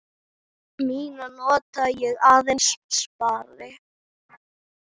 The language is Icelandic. Mína nota ég aðeins spari.